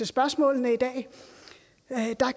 spørgsmålet i dag